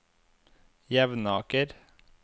Jevnaker